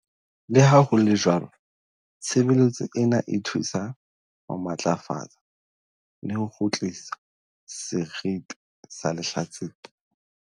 "Le ha ho le jwalo, tshebeletso ena e thusa ho matlafatsa le ho kgutlisa seriti sa lehlatsipa."